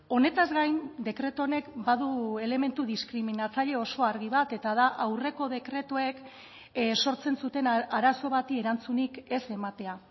honetaz gain dekretu honek badu elementu diskriminatzaile oso argi bat eta da aurreko dekretuek sortzen zuten arazo bati erantzunik ez ematea